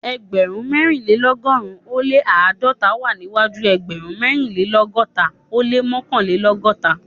Ẹgbẹ̀rún mẹ́rìnlélọ́gọ́rùn-ún ó lé àádọ́ta wá síwájú ẹgbẹ̀rún mẹ́rìnlélọ́gọ́ta ó lé mọ́kànlélọ́gọ́ta